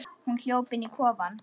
Hún hljóp inn í kofann.